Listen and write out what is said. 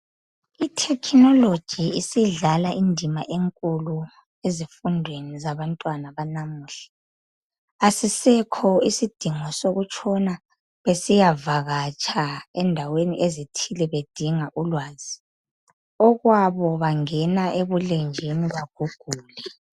I thekhinoloji isidlala indima enkulu ezifundweni zabantwana banamuhla asisekho isidingo sokuyavatsha endaweni ethile bedinga ulwazi okwabo bangena ebulenjini bagugule.